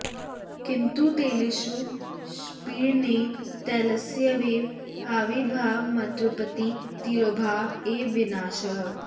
किन्तु तिलेषु पीडनेन तैलस्येव आविर्भावमात्रमुत्पत्तिः तिरोभाव एव विनाशः